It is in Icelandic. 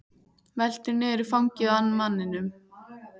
Veltur niður í fangið á manninum.